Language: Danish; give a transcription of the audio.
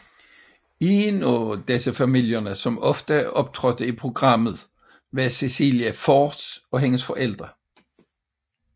En af disse familier som ofte optrådte i programmet var Cecilia Forss og hendes forældre